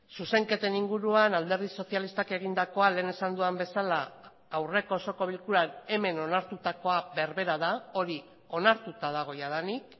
zuzenketen inguruan alderdi sozialistak egindakoa lehen esan dudan bezala aurreko osoko bilkuran hemen onartutakoa berbera da hori onartuta dago jadanik